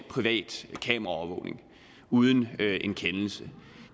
privat kameraovervågning uden en kendelse